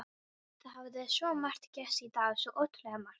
Það hafði svo margt gerst í dag, svo ótrúlega margt.